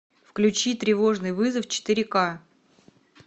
включи тревожный вызов четыре ка